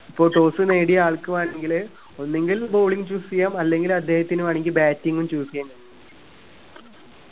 ഇപ്പോ toss നേടിയ ആൾക്ക് വേണെങ്കില് ഒന്നുങ്കിൽ bowling choose ചെയ്യാം അല്ലെങ്കിൽ അദ്ദേഹത്തിന് വേണെങ്കിൽ batting ഉം choose ചെയ്യാൻ കഴിയും